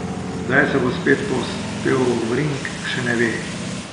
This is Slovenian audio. Kdaj se bo spet povzpel v ring, še ne ve.